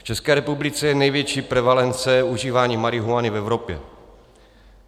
V České republice je největší prevalence užívání marihuany v Evropě.